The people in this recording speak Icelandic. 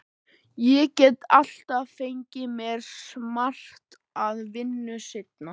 Ég get alltaf fengið mér smart vinnu seinna.